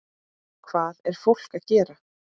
Hvað er fólk að gera?